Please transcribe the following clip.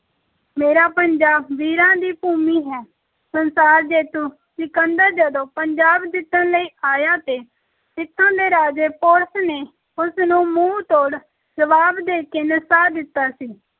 ਮੇਰਾ ਪੰਜਾਬ ਵੀਰਾਂ ਦੀ ਭੂਮੀ ਹੈ, ਸੰਸਾਰ ਜੇਤੂ ਸਿਕੰਦਰ ਜਦੋਂ ਪੰਜਾਬ ਜਿੱਤਣ ਲਈ ਆਇਆ ਤੇ ਇੱਥੋਂ ਦੇ ਰਾਜੇ ਪੋਰਸ ਨੇ ਉਸ ਨੂੰ ਮੂੰਹ ਤੋੜ ਜਵਾਬ ਦੇ ਕੇ ਨਸਾ ਦਿੱਤਾ ਸੀ।